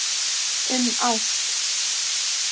Um ást.